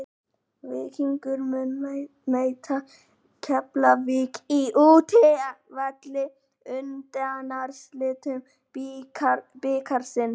Víkingur mun mæta Keflavík á útivelli í undanúrslitum bikarsins.